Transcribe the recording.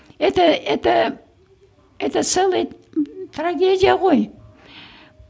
это это это целый трагедия ғой